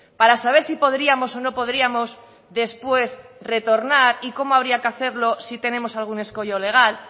para saber si podríamos o no podríamos después retornar y cómo habría que hacerlo si tenemos algún escollo legal